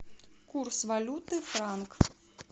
курс валюты франк